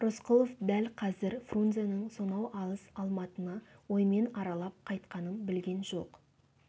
рысқұлов дәл қазір фрунзенің сонау алыс алматыны оймен аралап қайтқанын білген жоқ